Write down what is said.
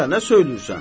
Gədə, nə söyləyirsən?